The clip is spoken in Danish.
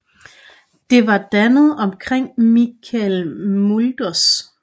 Det var dannet omkring Michel Mulders